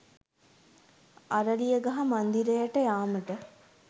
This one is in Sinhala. අරලියගහ මන්දිරයට යාමට